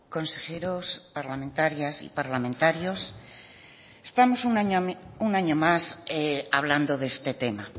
consejeros parlamentarias y parlamentarios estamos un año más hablando de este tema